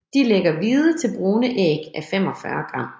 De lægger hvide til brune æg à 45 gram